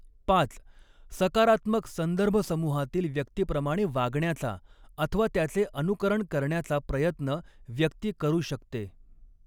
पाच सकारात्मक संदर्भसमूहातील व्यक्तीप्रमाणे वागण्याचा अथवा त्याचे अनुकरण करण्याचा प्रयत्न व्यक्ती करू शकते